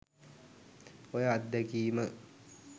ඔය අත්දැකිම